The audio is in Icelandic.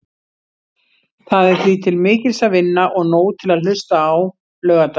Það er því til mikils að vinna og nóg til að hlusta á laugardaginn.